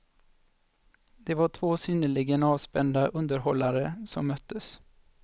Det var två synnerligen avspända underhållare, som möttes.